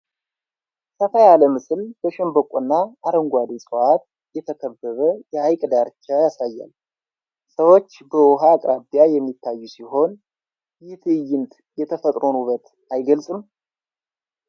ሰፋ ያለ ምስል በሸምበቆና አረንጓዴ ዕፅዋት የተከበበ የሐይቅ ዳርቻ ያሳያል፤ ሰዎች በውሃው አቅራቢያ የሚታዩ ሲሆን፣ ይህ ትዕይንት የተፈጥሮን ውበት አይገልጽም?